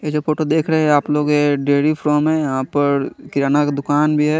ये जो फोटो देख रहे है आप लोग ये डैडी फ्रॉम है यहा पर किराणा का दुकान भी है।